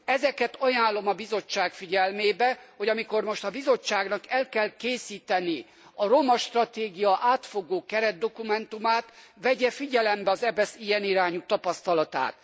Ezeket ajánlom a Bizottság figyelmébe, hogy amikor most a Bizottságnak el kell készíteni a romastratégia átfogó keretdokumentumát, vegye figyelembe az EBESZ ilyen irányú tapasztalatát.